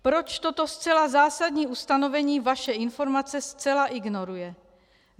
Proč toto zcela zásadní ustanovení vaše informace zcela ignoruje?